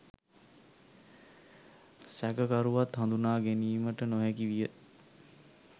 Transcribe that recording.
සැකකරුවත් හඳුනාගැනීමට නොහැකි විය.